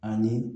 Ani